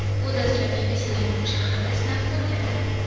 U dastlab Yekaterinburg shahrida sinab ko‘riladi.